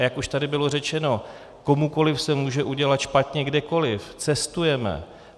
A jak už tady bylo řečeno, komukoliv se může udělat špatně kdekoliv, cestujeme.